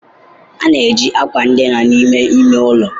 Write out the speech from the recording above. A na-eji akwa dina n'ime ime ụlọ.